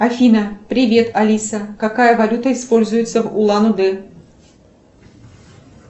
афина привет алиса какая валюта используется в улан удэ